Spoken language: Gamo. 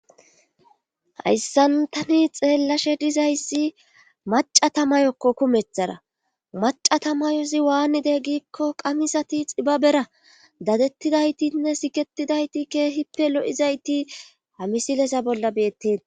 hayssan tani xeellashe dizayssi macatamayokko kumethara macatamayozi waannide giikko qamisati xibabera dadettidaytinne siketidayti keehippe lo7izayti hamisilesa bolla beetten